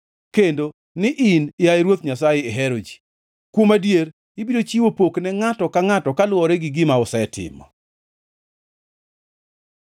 kendo ni in, yaye Ruoth Nyasaye, ihero ji. Kuom adier, ibiro chiwo pok ne ngʼato ka ngʼato kaluwore gi gima osetimo.